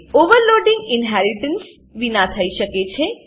overloading inheritance વિના થઇ શકે છે